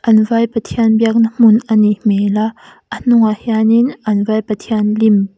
an vai pathian biak na hmun anih hmel a a hnungah hianin an vai pathian lim--